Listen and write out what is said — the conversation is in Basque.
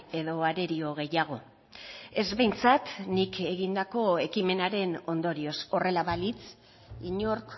edo arerio gehiago ez behintzat nik egindako ekimenaren ondorioz horrela balitz inork